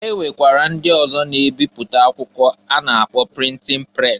E nwekwara ndị ọzọ na-ebipụta akwụkwọ a na-akpọ printin pres.